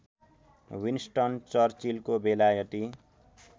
Winston चर्चिलको बेलायती